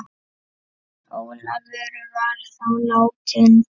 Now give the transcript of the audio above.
Ólafur var þá látinn.